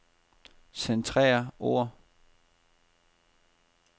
Centrer ord.